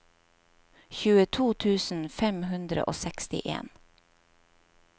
tjueto tusen fem hundre og sekstien